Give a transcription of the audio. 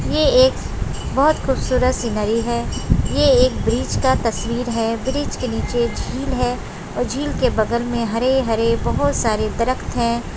ये एक बहुत खूबसूरत सिनेरियो है ये एक ब्रिज का तस्वीर है ब्रिज के निचे झील है और झील के बगल में हरे-हरे बहुत सारे दरखत है।